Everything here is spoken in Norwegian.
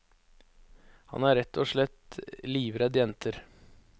Han er rett og slett livredd jenter.